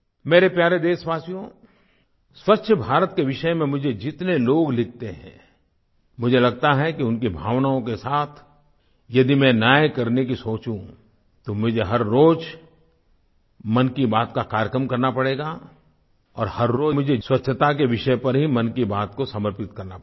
मेरे प्यारे देशवासियो स्वच्छ भारत के विषय में मुझे जितने लोग लिखते हैं मुझे लगता है कि उनकी भावनाओं के साथ यदि मैं न्याय करने की सोचूँ तो मुझे हर रोज मन की बात का कार्यक्रम करना पड़ेगा और हर रोज़ मुझे स्वच्छता के विषय पर ही मन की बात को समर्पित करना पड़ेगा